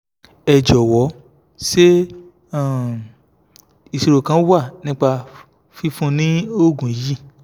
ẹ jọ̀wọ́ sé um ìṣòro kan wà nípa fífún ni oògùn yìí